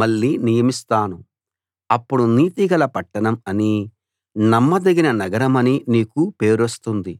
మళ్ళీ నియమిస్తాను అప్పుడు నీతిగల పట్టణం అనీ నమ్మదగిన నగరమనీ నీకు పేరొస్తుంది